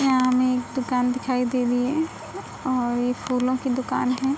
यहाँ हमें एक दुकान दिखाई दे रही है और ये फूलों की दुकान है।